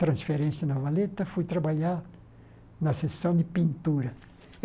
transferência na valeta, fui trabalhar na sessão de pintura.